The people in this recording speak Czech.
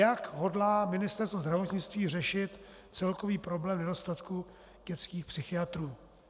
Jak hodlá Ministerstvo zdravotnictví řešit celkový problém nedostatku dětských psychiatrů?